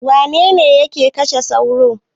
Wane ne yake kashe sauro?